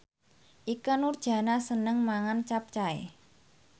Ikke Nurjanah seneng mangan capcay